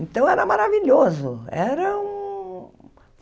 Então, era maravilhoso. Era um